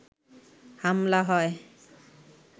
হামলা হয়